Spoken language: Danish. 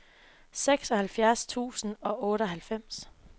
seksoghalvfjerds tusind og otteoghalvfems